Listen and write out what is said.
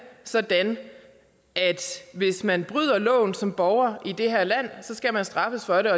sådan at hvis man bryder loven som borger i det her land skal man straffes for det og